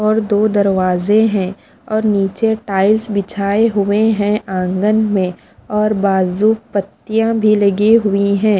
और दो दरवाजे है और नीचे टाइल्स बिछाये हुए है आँगन में और बाजु पत्तियाँ भी लगी हुई है।